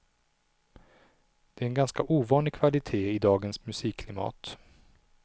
Det är en ganska ovanlig kvalitet i dagens musikklimat.